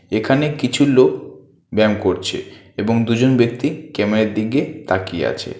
এখানে কিছু লোক ব্যায়াম করছে এবং দুজন ব্যক্তি ক্যামেরার দিকে তাকিয়ে আছে।